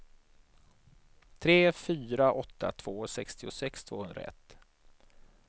tre fyra åtta två sextiosex tvåhundraett